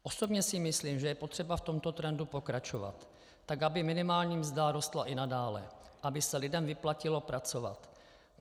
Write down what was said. Osobně si myslím, že je potřeba v tomto trendu pokračovat tak, aby minimální mzda rostla i nadále, aby se lidem vyplatilo pracovat.